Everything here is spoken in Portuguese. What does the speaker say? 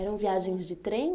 Eram viagens de trem?